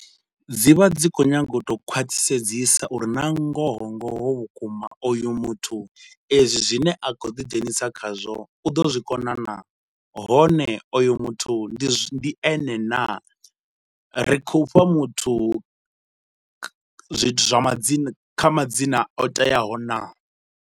Dzi vha dzi kho nyaga u to khwathisedzisa uri na ngoho ngoho vhukuma oyu muthu ezwi zwine a khou ḓi dzhenisa khazwo u ḓo zwikona naa? Hone oyu muthu ndi ene naa? Ri khou fha muthu zwithu zwa madzina kha madzina o teaho naa?